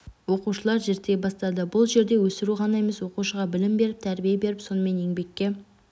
оқушылар зерттей бастады бұл жерде өсіру ғана емес оқушыға білім беріп тәрбие беріп сонымен еңбекке